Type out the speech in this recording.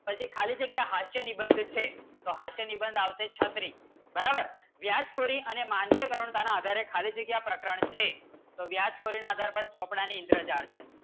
પછી ખાલી જગ્યા હાસ્ય નિબંધ છે તો હાસ્ય નિબંધ આવશે છત્રી બરાબર વ્યાસ વ્યાજ કૂદી અને માનવીય ખાલી જગ્ય પ્રકરણ છે તો વ્યાજ પણ આધાર પર ચોપડાની ઇન્દ્રજાળ છે